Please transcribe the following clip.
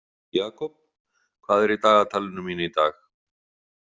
Jakob, hvað er í dagatalinu mínu í dag?